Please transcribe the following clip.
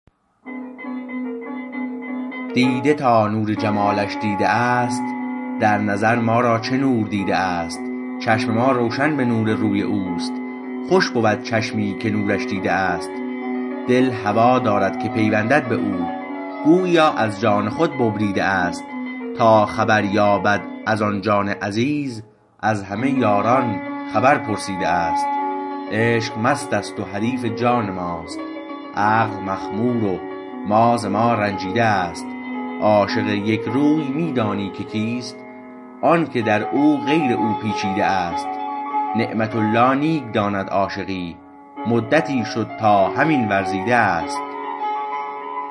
دیده تا نور جمالش دیده است در نظر ما را چه نور دیده است چشم ما روشن به نور روی اوست خوش بود چشمی که نورش دیده است دل هوا دارد که پیوندد به او گوییا از جان خود ببریده است تا خبر یابد از آن جان عزیز از همه یاران خبر پرسیده است عشق مست است و حریف جان ماست عقل مخمور و ما ز ما رنجیده است عاشق یک روی می دانی که کیست آنکه در او غیر او پیچیده است نعمة الله نیک داند عاشقی مدتی شد تا همین ورزیده است